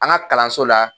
An ka kalanso la